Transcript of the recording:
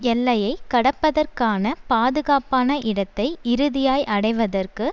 எல்லையை கடப்பதற்கான பாதுகாப்பான இடத்தை இறுதியாய் அடைவதற்கு